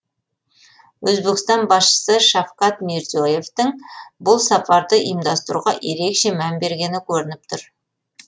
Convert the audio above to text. өзбекстан басшысы шавкат мирзие евтің бұл сапарды ұйымдастыруға ерекше мән бергені көрініп тұр